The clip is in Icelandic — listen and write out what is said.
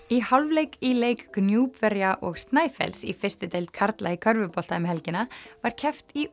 í hálfleik í leik og Snæfells í fyrstu deild karla í körfubolta um helgina var keppt í